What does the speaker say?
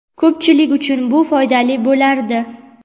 ko‘pchilik uchun bu foydali bo‘lardi.